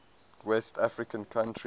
west african countries